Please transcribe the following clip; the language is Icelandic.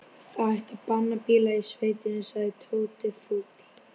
Það ætti að banna bíla í sveitinni sagði Tóti fúll.